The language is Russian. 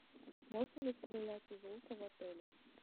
можно ли стрелять из лука в отеле